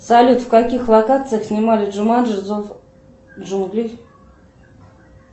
салют в каких локациях снимали джуманджи зов джунглей